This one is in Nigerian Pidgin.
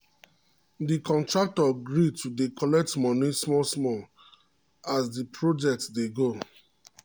d contractor gree to dey collect money small as the dey project dey go